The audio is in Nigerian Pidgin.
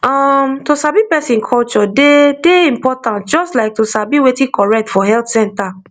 um to sabi person culture dey dey important just like to sabi wetin correct for healthcare